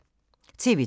TV 2